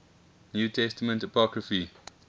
new testament apocrypha